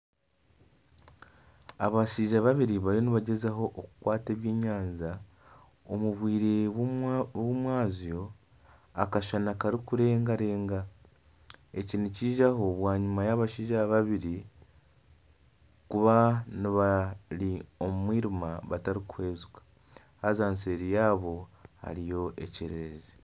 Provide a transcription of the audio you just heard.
Abashaija babiri bariyo nibagyezaho okukwata eby'enyanja omu bwire bwomwazyo Akashana kakurengarenga. Eki Nikiija ho bwanyima y'abashaija babiri kuba bari omu mwirima batarikuhwezika. Haza seeri yaabo hariyo ekyererezi.